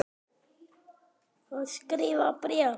Ég skrifa bréf!